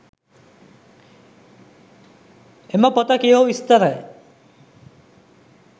එම පොත කියවු විස්තරය